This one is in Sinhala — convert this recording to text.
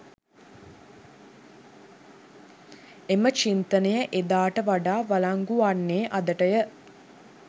එම චින්තනය එදාට වඩා වලංගු වන්නේ අදටය.